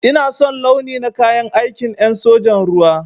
Ina son launi na kayan aikin en sojan ruwa.